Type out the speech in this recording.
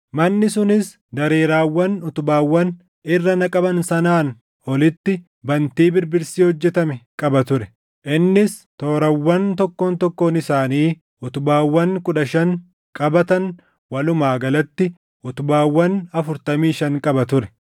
Manni sunis dareeraawwan utubaawwan irra naqaman sanaan olitti bantii birbirsi hojjetame qaba ture; innis toorawwan tokkoon tokkoon isaanii utubaawwan kudha shan qabatan walumaa galatti utubaawwan afurtamii shan qaba ture.